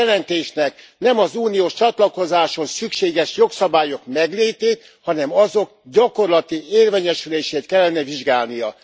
A jelentésnek nem az uniós csatlakozáshoz szükséges jogszabályok meglétét, hanem azok gyakorlati érvényesülését kellene vizsgálnia.